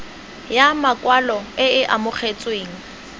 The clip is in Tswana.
ya makwalo e e amogetsweng